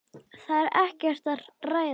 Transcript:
Það er ekkert að ræða.